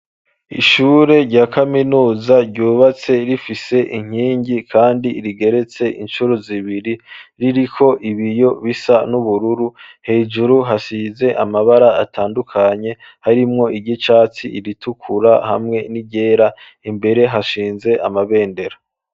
Ishure rya Kaminuza ryubatse, rifise inkingi kandi rigeretse incuro zibiri, ririko ibiyo bisa n'ubururu, hejuru hasize amabara atandukanye harimwo iry'icatsi, iritukura hamwe n'iryera, imbere hashinze amabendera.